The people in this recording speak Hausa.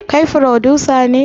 Kai frodusa ne?